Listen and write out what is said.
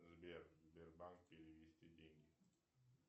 сбер сбербанк перевести деньги